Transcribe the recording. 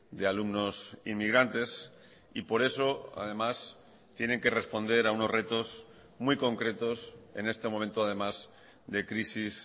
de alumnos inmigrantes y por eso además tienen que responder a unos retos muy concretos en este momento además de crisis